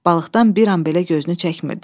Balıqdan bir an belə gözünü çəkmirdi.